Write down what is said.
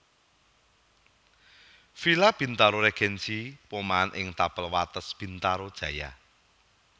Villa Bintaro Regency Pomahan ing tapel wates Bintaro Jaya